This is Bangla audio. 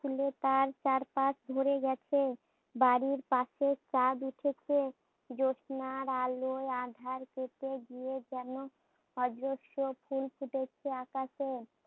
ফুলে তার চারপাশ ভরে গেছে। বাড়ির পাশে চাঁদ উঠেছে, জ্যোৎস্নার আলোয় আধারিতে যেন অজস্র ফুল ফুটেছে আকাশে